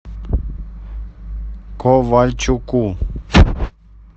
ковальчуку